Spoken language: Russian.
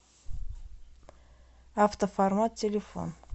автоформат телефон